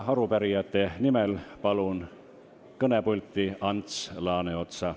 Arupärijate nimel palun kõnepulti Ants Laaneotsa.